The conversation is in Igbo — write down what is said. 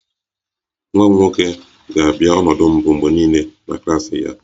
Nwa m nwoke ga-abịa ọnọdụ mbụ mgbe niile na klas ya